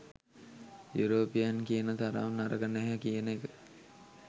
European කියන තරම් නරක නැහැ කියන එක